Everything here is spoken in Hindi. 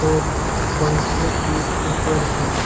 और पंखे कुछ ऊपर है।